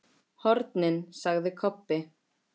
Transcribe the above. HORNIN, sagði Kobbi.